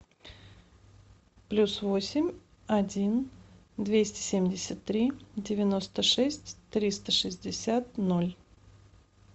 плюс восемь один двести семьдесят три девяносто шесть триста шестьдесят ноль